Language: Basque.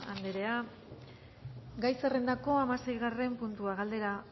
anderea gai zerrendako hamaseigarren puntua galdera